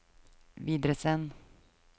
videresend